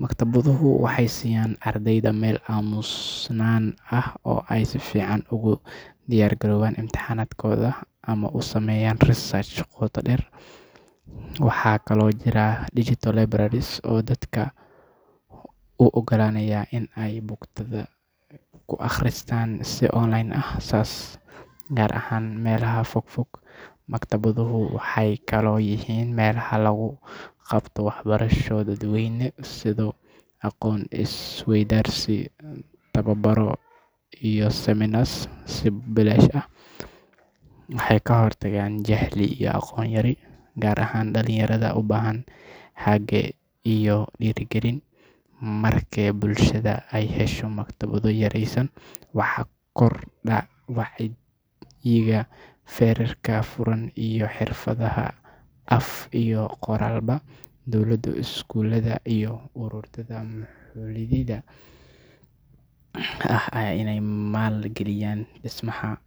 Maktabaduhu waxay siiyaan ardayda meel aamusnaan ah oo ay si fiican ugu diyaargaroobaan imtixaanaadkooda ama u sameeyaan research qoto dheer. Waxaa kaloo jira digital libraries oo dadka u oggolaanaya in ay buugaagta ku akhriyaan si online ah, gaar ahaan meelaha fogfog. Maktabaduhu waxay kaloo yihiin meelaha lagu qabto waxbarasho dadweyne sida aqoon isweydaarsi, tababaro, iyo seminars si bilaash ah. Waxay ka hortagaan jahli iyo aqoon yari, gaar ahaan dhalinyarada u baahan hage iyo dhiirigelin. Marka bulshada ay hesho maktabado tayeysan, waxaa kordha wacyiga, fekerka furan, iyo xirfadaha af iyo qoraalba. Dowladda, iskuulada, iyo ururada maxalliga ah waa inay maal-geliyaan dhismaha.